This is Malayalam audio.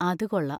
അത് കൊള്ളാം.